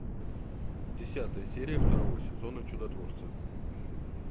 десятая серия второго сезона чудотворцы